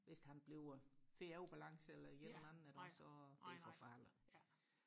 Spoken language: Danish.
hvis han bliver får ubalance eller et eller andet iggås og det er forfærdeligt